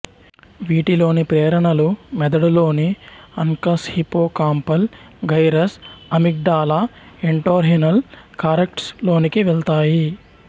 వీటి లోని ప్రేరణలు మెదడులోని uncus hippocampal gyrus amygdala entorhinal cortex లోనికి వెళతాయి